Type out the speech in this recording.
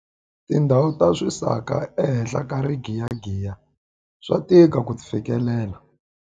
Tindhawu ta swisaka ehenhla ka rigiyagiya swa tika ku ti fikelela.